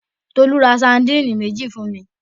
Tolú ra sardine méjì fún mi.